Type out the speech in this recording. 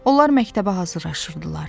Onlar məktəbə hazırlaşırdılar.